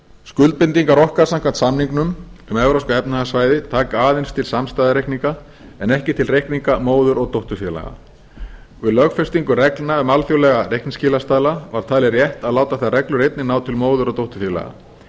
skuldbindingar okkar gagnvart samningnum um evrópska efnahagssvæðið taka aðeins til samstæðureikninga en ekki til reikninga móður og dótturfélaga við lögfestingu reglna við alþjóðlega reikningsskilastaðla var talið rétt að láta þær reglur einnig ná til móður og dótturfélaga